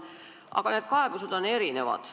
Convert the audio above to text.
Aga kaebused on erinevad.